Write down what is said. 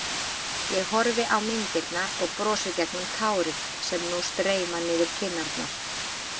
Ég horfi á myndirnar og brosi gegnum tárin sem nú streyma niður kinnarnar.